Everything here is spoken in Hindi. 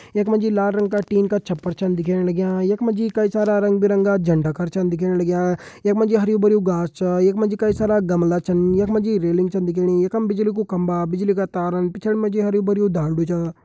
यख मा जी लाल रंग का टिन का छपर छा दिखेण लग्यां यख मा जी कई सारा रंग बिरंगा झंडा कर छ दिखेण लग्यां यख मा जी हरयूं भरयूं घास छा यख मा जी कई सारा गमला छिन यख मा जी रेलिंग छन दिखेणी यखम बिजली कू खम्बा बिजली का तार पिछाड़ी मा जी हरयूं भरयूं दांडू छ।